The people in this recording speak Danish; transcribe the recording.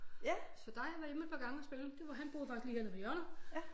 Så der har jeg været hjemme et par gange og spille det var han boede faktisk lige hernede på hjørnet